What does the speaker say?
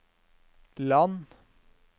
land